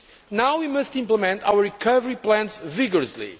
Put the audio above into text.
Now we must implement our recovery plans vigorously.